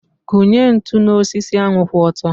Kụnye ntụ n'osisi ahu kwụ ọtọ.